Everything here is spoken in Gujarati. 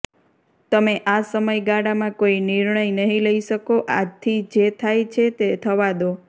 તમે આ સમયગાળામાં કોઈ નિર્ણય નહિ લઈ શકો આથી જે થાય છે તે થવા દો